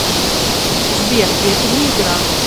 сбер это не игра